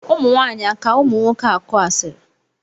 ụmụnwaanyị aka ụmụnwoke akụ asịrị?